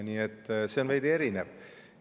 Nii et see on veidi erinev.